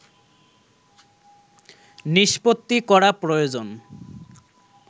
নিষ্পত্তি করা প্রয়োজন